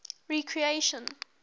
recreation